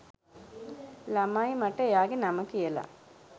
ළමයි මට එයාගෙ නම කියල